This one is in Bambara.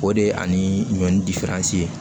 O de ye ani ɲɔni